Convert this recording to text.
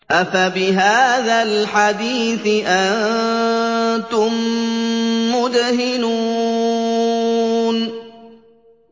أَفَبِهَٰذَا الْحَدِيثِ أَنتُم مُّدْهِنُونَ